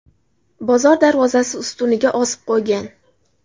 bozor darvozasi ustuniga osib qo‘ygan.